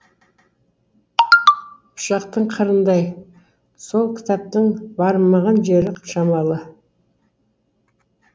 пышақтың қырындай сол кітаптың бармаған жері шамалы